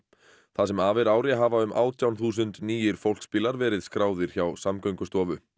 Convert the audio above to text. það sem af er ári hafa um átján þúsund nýir fólksbílar verið skráðir hjá Samgöngustofu